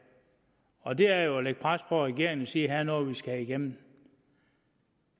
og det er jo ved at lægge pres på regeringen og sige her er noget vi skal have igennem